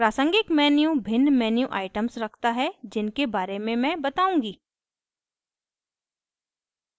प्रासंगिक menu भिन्न menu items रखता है जिनके बारे में मैं बताऊँगी